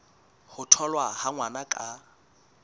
ho tholwa ha ngwana ka